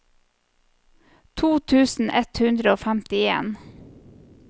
to tusen ett hundre og femtien